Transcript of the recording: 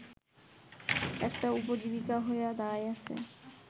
একটা উপজীবিকা হইয়া দাঁড়াইয়াছে